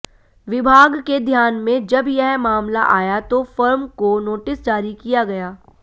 विभाग के ध्यान में जब यह मामला आया तो फर्म को नोटिस जारी किया गया